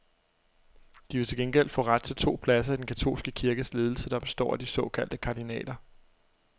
De ville til gengæld få ret til to pladser i den katolske kirkes ledelse, der består af de såkaldte kardinaler.